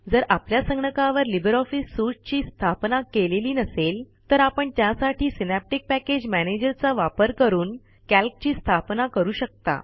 जर आपल्या संगणकावर लिब्रे ऑफिस सूट ची स्थापना केलेली नसेल तर आपण त्यासाठी सिनॅप्टिक पॅकेज मॅनेजर चा वापर करून कॅल्क ची स्थापना करू शकता